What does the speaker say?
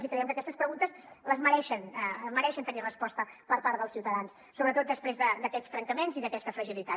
i creiem que aquestes preguntes mereixen tenir resposta per part dels ciutadans sobretot després d’aquests trencaments i d’aquesta fragilitat